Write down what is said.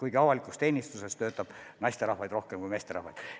Samas, avalikus teenistuses töötab naisterahvaid rohkem kui meesterahvaid.